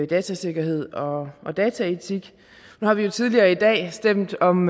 datasikkerhed og dataetik nu har vi jo tidligere i dag stemt om